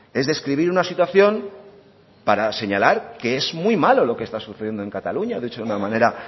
es describir una situación para señalar que es muy malo lo que está sucediendo en cataluña dicho de una manera